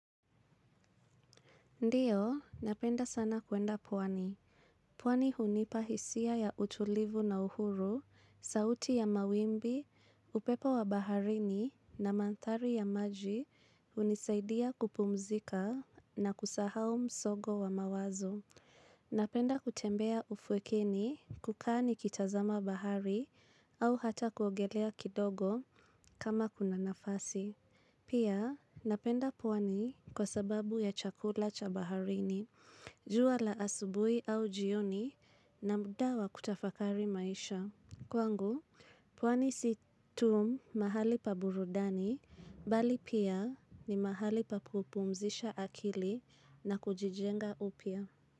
Ndiyo, napenda sana kuenda pwani. Pwani hunipa hisia ya utulivu na uhuru, sauti ya mawimbi, upepo wa baharini na mandhari ya maji hunisaidia kupumzika na kusahau msongo wa mawazo. Napenda kutembea ufwekeni kukaa nikitazama bahari au hata kuogelea kidogo kama kuna nafasi. Pia napenda pwani kwa sababu ya chakula cha baharini, jua la asubuhi au jioni na muda wa kutafakari maisha. Kwangu, pwani si tu mahali pa burudani, bali pia ni mahali pa kupumzisha akili na kujijenga upys.